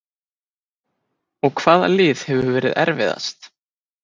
Og hvaða lið hefur verið erfiðast?